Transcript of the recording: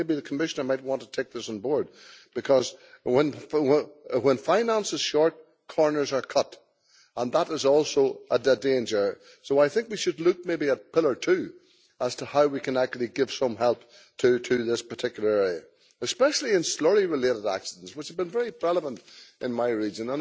I think maybe the Commissioner might want to take this on board because when finance is short, corners are cut, and that is also a danger, so I think we should look maybe at Pillar 2 to see how we can actually give some help to this particular area, especially in slurry related accidents which have been very prevalent in my region.